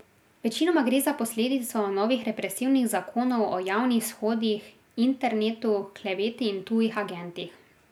Večinoma gre za posledico novih represivnih zakonov o javnih shodih, internetu, kleveti in tujih agentih.